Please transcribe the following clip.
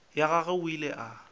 ya gagwe o ile a